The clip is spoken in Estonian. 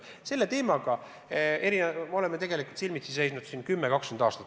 Selle teemaga me oleme tegelikult silmitsi seisnud 10–20 aastat.